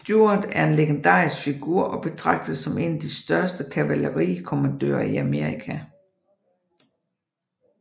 Stuart en legendarisk figur og betragtes som en af de største kavalerikommandører i Amerika